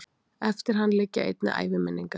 eftir hann liggja einnig æviminningar